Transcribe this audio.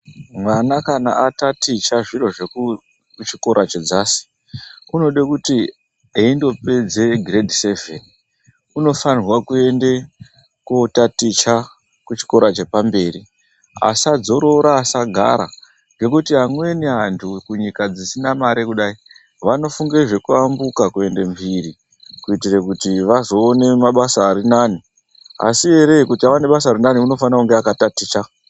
Mwana kana ataticha zvechikora chedzasi unode kuti eindopedze grade seven unofane kuende kotaticha kuchikora chepamberi asadzorora asagara ngekuti amweni anhu kunyika dzisna mare kudai vanofunge zvekuambuka kuende mhiri kuitire kuti azoone basa ririnani ,asi ere kuti azoona basa ririnani anofane kunge akataticha.